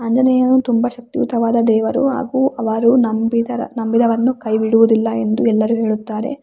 ಆಂಜನೇಯನು ತುಂಬಾ ಶಕ್ತಿಯುತವಾದ ದೇವರು ಹಾಗು ಅವರು ನಂಬಿದರ ನಂಬಿದವರನ್ನು ಕೈ ಬಿಡುವುದಿಲ್ಲ ಎಂದು ಎಲ್ಲರು ಹೇಳುತ್ತಾರೆ.